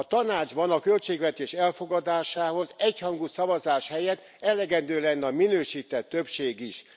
A Tanácsban a költségvetés elfogadásához egyhangú szavazás helyett elegendő lenne a minősített többség is.